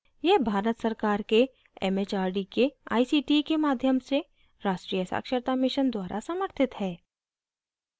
यह भारत सरकार के it it आर डी के आई सी टी के माध्यम से राष्ट्रीय साक्षरता mission द्वारा समर्थित है